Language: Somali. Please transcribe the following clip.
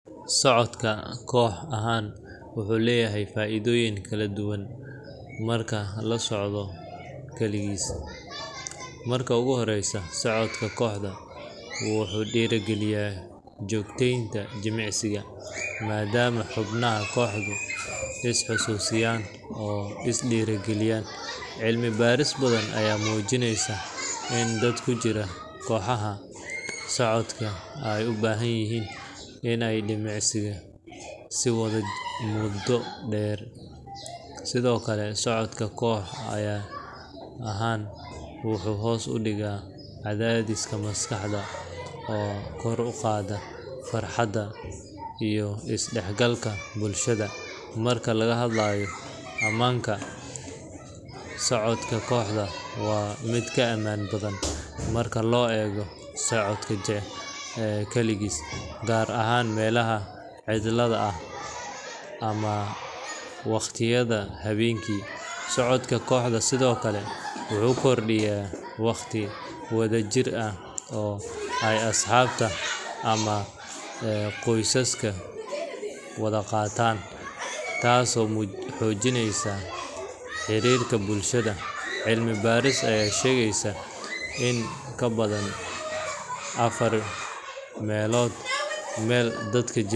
Socodka koox ahaan wuxuu leeyahay faa'iidooyin ka badan marka la socdo kaligiis. Marka ugu horreysa, socodka kooxdu wuxuu dhiirrigeliyaa joogteynta jimicsiga, maadaama xubnaha kooxdu is xasuusiyaan oo is dhiirrigeliyaan. Cilmi-baarisyo badan ayaa muujinaya in dad ku jira kooxaha socodka ay u badan tahay in ay jimicsiga sii wadaan muddo dheer. Sidoo kale, socodka koox ahaan wuxuu hoos u dhigaa cadaadiska maskaxda oo kor u qaada farxadda iyo isdhexgalka bulshada. Marka laga hadlayo ammaanka, socodka kooxdu waa mid ka ammaan badan marka loo eego socodka kaligiis, gaar ahaan meelaha cidla ah ama wakhtiyada habeenkii. Socodka kooxdu sidoo kale wuxuu kordhiyaa waqti wada jir ah oo ay asxaabta ama qoysasku wada qaataan, taasoo xoojinaysa xiriirka bulshada. Cilmi-baaris ayaa sheegaysa in in ka badan afar meelood meel dadka jimicsiga wada sameeya ay la kulmaan isbeddel wanaagsan oo ku yimaada caafimaadkooda guud.